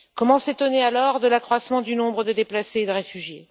Comment s'étonner alors de l'accroissement du nombre de déplacés et de réfugiés?